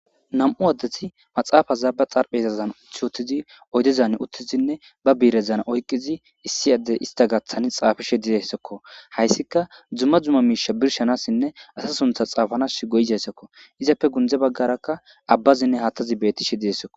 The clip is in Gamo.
Nam'u addethi maxaafaza ba xarphe hesazan uthi wottizi oydezan uttizinne ba biirezan oyqizi issi addey ista gaaththani xaafishe dizessokko hayssika dzumma dzumma miisha birshanassinne asa suntha xaafanas goyizessokko izappe gundze baggarakka abbazinne haatazi bettishe dizessokko.